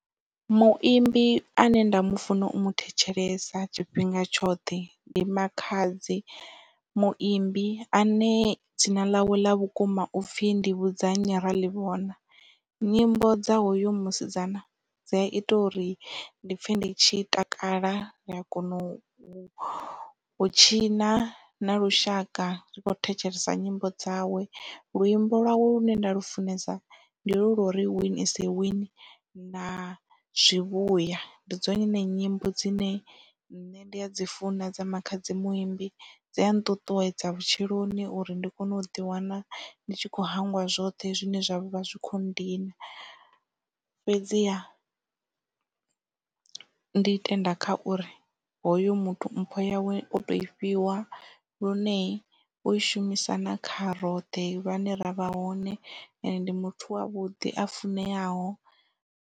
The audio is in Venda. Muimbi ane nda mufuna u mu thetshelesa tshifhinga tshoṱhe ndi makhadzi muimbi ane dzina ḽawe ḽa vhukuma upfhi Ndivhudzannyi Raḽivhona. Nyimbo dza hoyu musidzana dzi a ita uri ndi pfhe ndi tshi takala ri a kona u tshina na lushaka ri kho thetshelesa nyimbo dzawe. Luimbo lwawe lune nda lufunesa ndi holu lwa uri win is a win na zwivhuya ndi dzone nyimbo dzine nne ndi a dzi funa dza makhadzi muimbi dzi a nṱuṱuwedza vhutshiloni uri ndi kone u ḓi wana ndi tshi kho hangwa zwoṱhe zwine zwavha zwi kho ndina fhedziha ndi tenda kha uri hoyu muthu mpho yawe o to i fhiwa lune u i shumisa nga kha roṱhe vhane ravha hone ende ndi muthu wavhuḓi a funeaho.